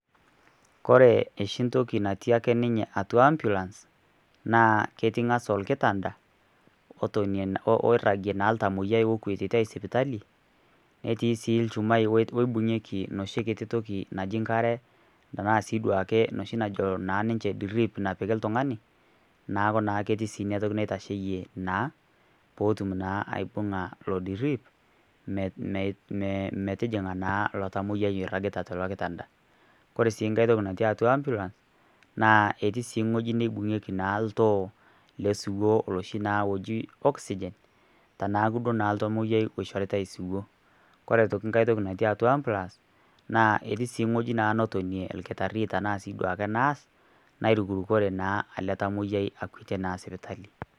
Ore oshi ntoki natii ake ninye atua ambulance naa ketii nkas olkitanta, oiragie naa iltamiyia okuetitai sipitali netii sii ilchumai oibinkikie noshi kiti toki naji nkare tanaa sii duake najo ninje drip napiki iltungani neeku naa ketii sii inatoki naitasheyie naa peetum naa ibunga ilo drip metijinga naa ilo tamoyiai oiragita tilo kitanta. Ore sii nkae toki natii atua ambulance naa etii sii ewoji nibunkieki naa oltoo oloshi naa oji oxygen teneeku naa oltamoyiai oishoritai siwu. Ore aitoki nkae toki natii atua ambulance naa etii sii woji natonie olkitari tenaa sii duake nurse[ nairukurukore naa ele tamoyiai oitai naa sipitali.